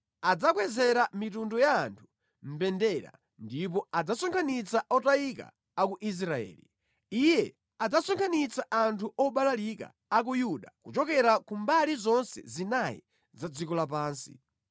Adzakwezera mitundu ya anthu mbendera, ndipo adzasonkhanitsa otayika a ku Israeli; Iye adzasonkhanitsa anthu obalalika a ku Yuda kuchokera ku mbali zonse zinayi za dziko lapansi.